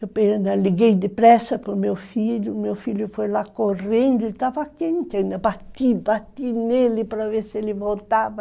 Eu liguei depressa para o meu filho, meu filho foi lá correndo, ele estava quente, eu bati, bati nele para ver se ele voltava.